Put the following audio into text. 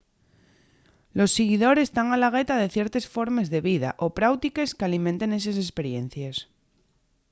los siguidores tán a la gueta de ciertes formes de vida o práutiques qu’alimenten eses esperiencies